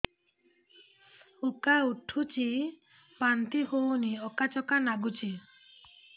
ଉକା ଉଠୁଚି ବାନ୍ତି ହଉନି ଆକାଚାକା ନାଗୁଚି